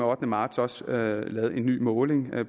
ottende marts også lavet en ny måling